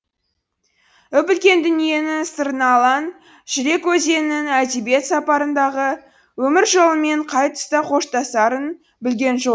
үп үлкен дүниенің сырына алаң жүрек өзеннің әдебиет сапарындағы өмір жолымен қай тұста қоштасарын білген жоқ